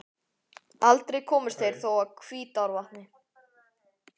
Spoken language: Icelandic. Aldrei komust þeir þó að Hvítárvatni.